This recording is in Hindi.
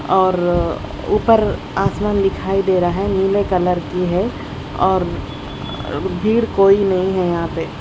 और रर ऊपर आसमान दिखाई दे रहा है नीले कलर की है और भीड़ कोई नहीं है यहां पे--